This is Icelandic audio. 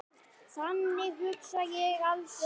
Þannig hugsa ég aldrei.